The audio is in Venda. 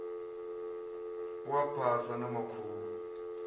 u a phasa na makhulu